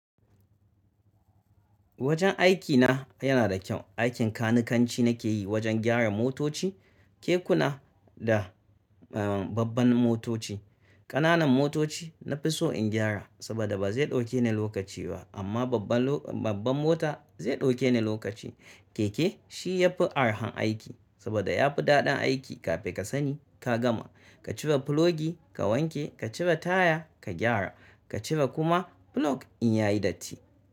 Wajen aikina yana da kyau. Aikin kanikanci nakeyi, wajen gyara motoci, kekuna da uhm, babban motoci. Ƙananan motoci na fi so in gyara saboda ba zai ɗauke ni lokaci ba amma babban lo, babban mota zai ɗauke ni lokaci. Keke shi ya fi arhan aiki saboda ya fi daɗin aiki. Kafin ka sani ka gama, ka cire filogi ka wanke, ka cire taya ka gyara, ka cire kuma filog in ya yi datti.